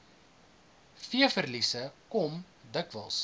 veeverliese kom dikwels